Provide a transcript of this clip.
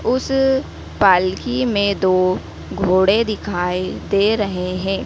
उस पालकी में दो घोड़े दिखाई दे रहे हैं।